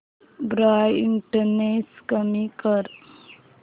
brightness कमी कर